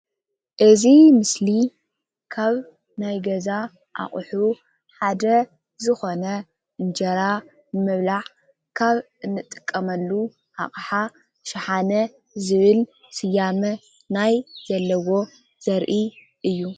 እዚ ምስሊ ካብ ናይ ገዛ ኣቁሑ ሓደ ኾይኑ ምግቢ መቀረብን መብልዕን ይጠቅም።